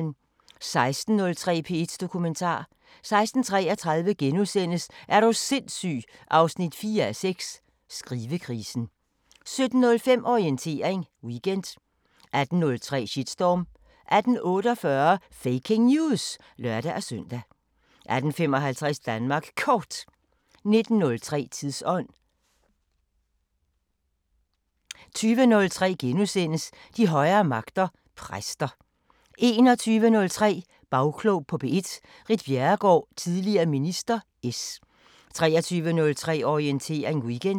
16:03: P1 Dokumentar 16:33: Er du sindssyg 4:6 – Skrivekrisen * 17:05: Orientering Weekend 18:03: Shitstorm 18:48: Faking News! (lør-søn) 18:55: Danmark Kort 19:03: Tidsånd 20:03: De højere magter: Præster * 21:03: Bagklog på P1: Ritt Bjerregaard, tidl. minister (S) 23:03: Orientering Weekend